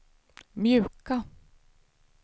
mjuka